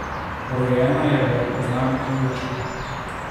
Rojena je v znamenju dvojčkov.